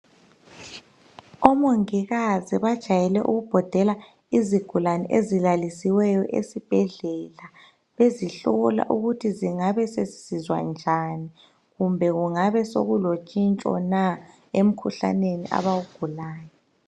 Omongikazi bajayele ukubhodela izigulane ezilalisiweyo esibhedlela bezihlola ukuthi zingabe sezisizwa njani kumbe kungabe sekulotshintsho na emkhuhlaneni abawugulayo